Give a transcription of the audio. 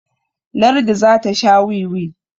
lardi za ka Sha wiwi?